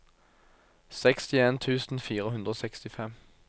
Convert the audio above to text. sekstien tusen fire hundre og sekstifem